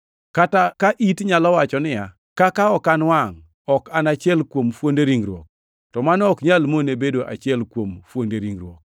Kata, ka it nyalo wacho niya, “Kaka ok an wangʼ, ok an achiel kuom fuonde ringruok,” to mano ok nyal mone bedo achiel kuom fuonde ringruok.